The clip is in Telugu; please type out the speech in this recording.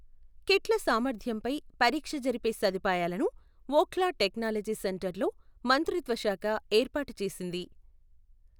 కిట్ల సామర్థ్యంపై పరీక్ష జరిపే సదుపాయాలను ఒఖ్లా టెక్నాలజీ సెంటర్ లో మంత్రిత్వ శాఖ ఏర్పాటు చేసింది.